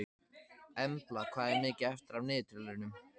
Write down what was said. Embla, hvað er mikið eftir af niðurteljaranum?